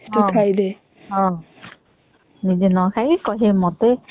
ହୁଁ ନିଜେ ନଖିକି ଖାଇକି କହିବେ ମତେ